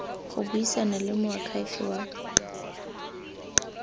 go buisana le moakhaefe wa